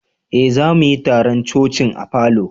Eh, za mu yi taron coci'n a falo.